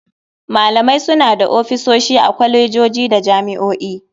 Malamai suna da ofisoshi a kwalejoji da jami'o'i.